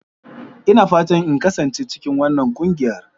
Ina fatan in kasance cikin wannan ƙungiyar.